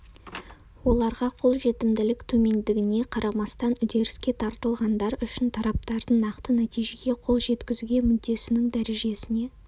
оларға қолжетімділік төмендігіне қарамастан үдеріске тартылғандар үшін тараптардың нақты нәтижеге қол жеткізуге мүддесінің дәрежесіне